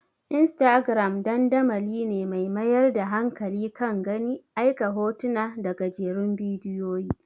Instagram dandamali ne mai mayar da hankali kan gani, aika hotuna da gajerun bidiyoyi.